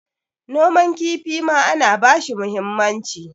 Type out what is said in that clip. noman kifi ma ana bashi muhimmanci